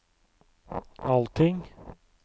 allting